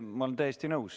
Ma olen täiesti nõus.